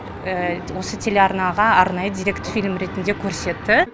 осы телеарнаға арнайы деректі фильм ретінде көрсетті